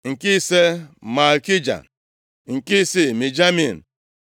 nke ise, Malkija nke isii, Mijamin